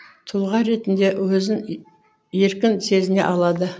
тұлға ретінде өзін еркін сезіне алады